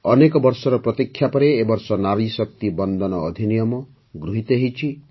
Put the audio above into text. ଅନେକ ବର୍ଷର ପ୍ରତୀକ୍ଷା ପରେ ଏ ବର୍ଷ ନାରୀ ଶକ୍ତି ବନ୍ଦନ ଅଧିନିୟମ ଆଇନ୍ ଗୃହୀତ ହୋଇଛି